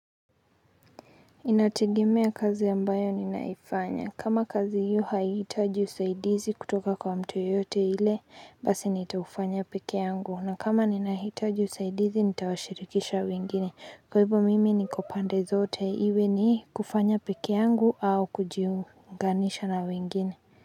Inategemea kazi ambayo ninaifanya kama kazi hiyo haitaji usaidizi kutoka kwa mtu yote ile basi nitaufanya peke yangu na kama ninahitaji usaidizi nitawashirikisha wengine kwa hivyo mimi niko pande zote iwe ni kufanya peke yangu au kujiunganisha na wengine.